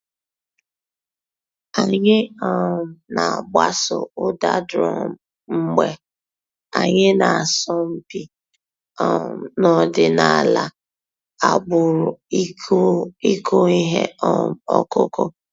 Ànyị̀ um nà-àgbàsò ǔ́dà drum mgbè ànyị̀ nà-àsọ̀ mpị̀ um n'ọ̀dìnàlà àgbùrù ị̀kụ̀ íhè um ǒkụ̀kụ̀.